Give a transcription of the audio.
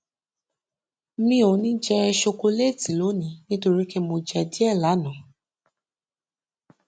mi ò ní jẹ ṣokoléètì lónìí nítorí pé mo jẹ díẹ lánàá